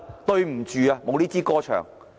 對不起，"無呢支歌唱"。